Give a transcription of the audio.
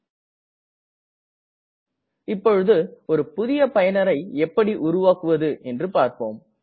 நாம் இப்போது ஒரு புதுய பயனரை எப்படி உருவாக்குவது என்று பார்ப்போம்